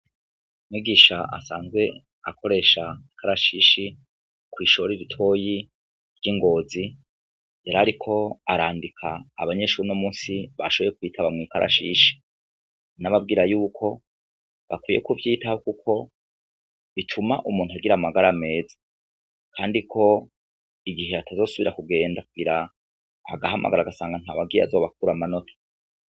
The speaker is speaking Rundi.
Migisha asanzwe akoresha ikarashishi kw'ishore ibitoyi vy'ingozi yari, ariko arandika abanyeshuru no musi bashoye kwita bamwe ikarashishi n'ababwira yuko bakwiye kuvyitao, kuko bituma umuntu agira amagara meza kandiko igihe hatazosubira kugenda akwira hagahamagara agasanga nta bagiye azobakura amanota.